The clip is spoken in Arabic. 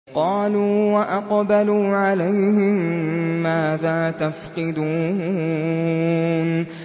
قَالُوا وَأَقْبَلُوا عَلَيْهِم مَّاذَا تَفْقِدُونَ